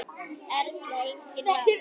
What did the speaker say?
Erla: Enginn vafi?